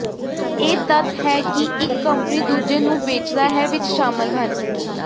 ਇਹ ਤੱਥ ਹੈ ਕਿ ਇੱਕ ਕੰਪਨੀ ਦੂਜੇ ਨੂੰ ਵੇਚਦਾ ਹੈ ਵਿੱਚ ਸ਼ਾਮਲ ਹਨ